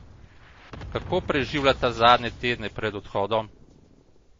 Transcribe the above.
Kako preživljata zadnje tedne pred odhodom?